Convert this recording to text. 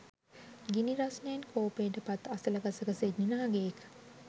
ගිනි රස්නයෙන් කෝපයට පත් අසල ගසක සිටි නාගයෙක්